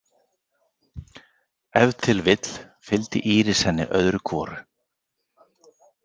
Ef til vill fylgdi Íris henni öðru hvoru.